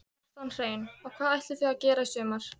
Kjartan Hreinn: Og hvað ætlið þið að gera í sumar?